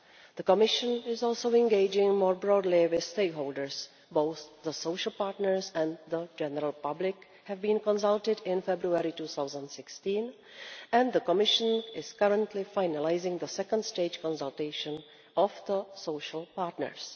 The Commission is also engaging more broadly with stakeholders both the social partners and the general public have been consulted, in February 2016, and the Commission is currently finalising the second stage consultation of the social partners.